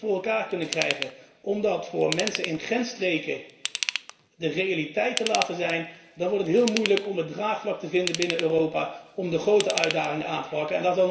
Als wij het niet voor elkaar kunnen krijgen om dat voor mensen in grensstreken te realiseren, dan wordt het heel moeilijk om een draagvlak te vinden binnen Europa om de grote uitdagingen aan te pakken.